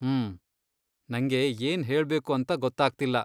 ಹ್ಮ್, ನಂಗೆ ಏನ್ ಹೇಳ್ಬೇಕು ಅಂತ ಗೊತ್ತಾಗ್ತಿಲ್ಲ.